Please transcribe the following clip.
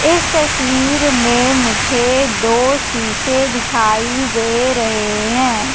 इस तस्वीर में मुझे दो शीशे दिखाई दे रहे हैं।